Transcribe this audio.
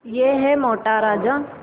यह है मोटा राजा